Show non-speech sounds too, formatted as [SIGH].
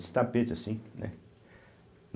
[UNINTELLIGIBLE] tapete assim, né?